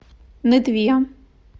нытве